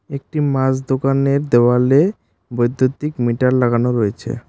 একটি মাছ দোকানের দেয়ালে বৈদ্যুতিক মিটার লাগানো রয়েছে।